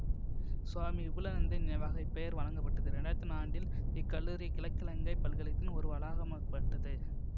சுவாமி விபுலாநந்தரின் நினைவாக இப்பெயர் வழங்கப்பட்டது இரண்டு ஆயிரத்தி ஒன்னா ஆண்டில் இக்கல்லூரி கிழக்கிலங்கைப் பல்கலைத்தின் ஓர் வளாகமாக்கப்பட்டது